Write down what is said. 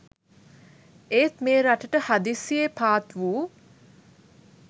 ඒත් මේ රටට හදිසියේ පාත්වූ